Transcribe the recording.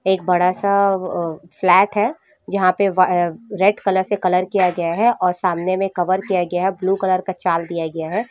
एक बडा स प्लेट है जहाँ पे रेड कलर से कलर किया गया है और सामने में कवर किया गया है ब्लू कलर का चाल दिया गया है।